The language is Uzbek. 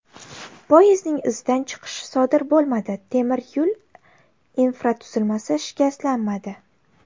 Poyezdning izidan chiqishi sodir bo‘lmadi, temir yo‘l infratuzilmasi shikastlanmadi.